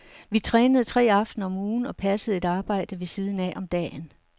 Vi trænede tre aftener om ugen og passede et arbejde ved siden af om dagen.